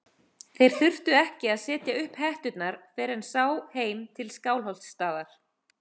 Þeir þurftu ekki að setja upp hetturnar fyrr en sá heim til Skálholtsstaðar.